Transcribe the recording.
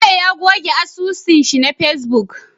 Bello ya goge asusun shi na facebook